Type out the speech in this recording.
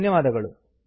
ಧನ್ಯವಾದಗಳು